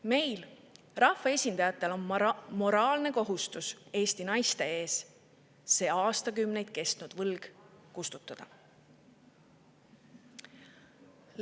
Meil, rahvaesindajatel on moraalne kohustus Eesti naiste ees see aastakümneid kestnud võlg kustutada.